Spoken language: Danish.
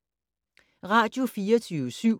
Radio24syv